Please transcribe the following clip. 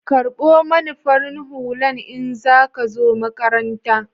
karɓo mani farin Hullan in za ka zo maƙarantan.